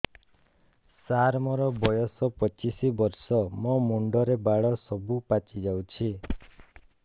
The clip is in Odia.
ସାର ମୋର ବୟସ ପଚିଶି ବର୍ଷ ମୋ ମୁଣ୍ଡରେ ବାଳ ସବୁ ପାଚି ଯାଉଛି